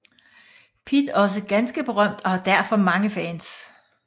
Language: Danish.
Pitt også ganske berømt og har derfor mange fans